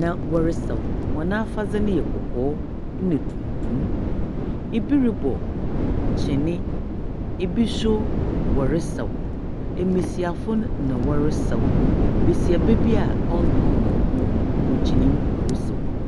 na wɔresaw. Hɔn afadze no yɛ kɔkɔɔ na tuntum, bi robɔ kyen, binom so wɔresaw. Mbasiafo no na wɔresaw. Basiaba bi a ɔnnka hɔn ho, ogyina mu, ɔresaw bi.